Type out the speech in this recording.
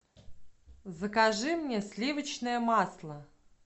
закажи мне сливочное масло